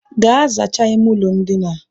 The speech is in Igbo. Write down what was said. Gaa zachaa ime ụlọ ndina